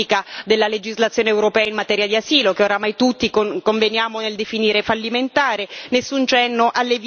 nessun cenno alla modifica della legislazione europea in materia di asilo, che oramai tutti conveniamo nel definire fallimentare